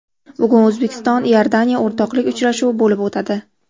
Bugun O‘zbekiston Iordaniya o‘rtoqlik uchrashuvi bo‘lib o‘tadi.